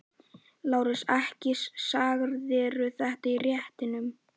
LÁRUS: Ekki sagðirðu þetta í réttinum.